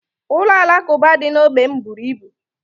Ụlọ alakuba dị na ógbè m bụrụ ibu